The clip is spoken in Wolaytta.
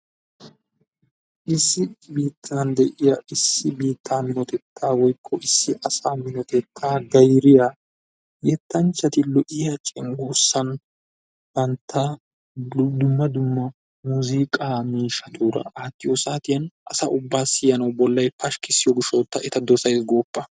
Issi biitan deiya issi biitaa minotetta woykko issi asa minotettaa gayriyaa yettanchchati lo'iyaa cenggurssan du dumma dumma muuziqqa miishshaturaa attiyo saatiyan asaa ubba siyanawu bollay pashkisiyo gishshawu ta eta dosaysi goppa!